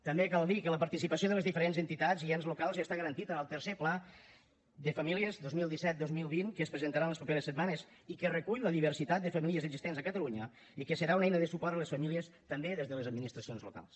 també cal dir que la participació de les diferents entitats i ens locals ja està garantida en el tercer pla de famílies dos mil disset dos mil vint que es presentarà en les properes setmanes i que recull la diversitat de famílies existents a catalunya i que serà una eina de suport a les famílies també des de les administracions locals